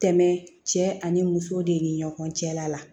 Tɛmɛ cɛ ani muso de ni ɲɔgɔn cɛla la